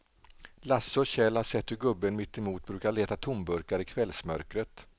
Lasse och Kjell har sett hur gubben mittemot brukar leta tomburkar i kvällsmörkret.